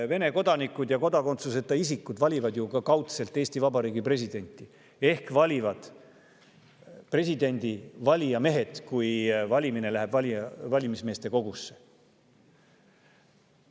Vene kodanikud ja kodakondsuseta isikud valivad ju kaudselt ka Eesti Vabariigi presidenti ehk nad valivad, kui valimine läheb valimiskogusse.